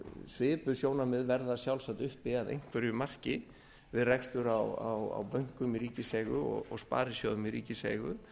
svipuð sjónarmið verða sjálfsagt uppi að einhverju marki við rekstur á bönkum í ríkiseigu og sparisjóðum í ríkiseigu